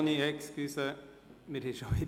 Grossrat Vanoni, entschuldigen Sie bitte.